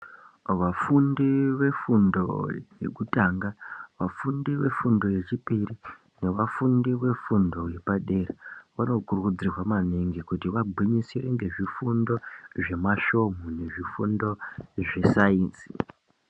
Vafundi vefundo yekutanga vafundi vefundo yechipiri nevafundi vefundo yepadera vanokurudzirwa maningi kuti vagwinyisire ngezvifundo zvemasvomu nezvifundo zvesainzi